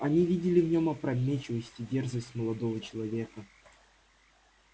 они видели в нём опрометчивость и дерзость молодого человека